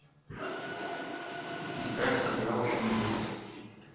искать сериал импульс